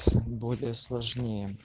более сложнее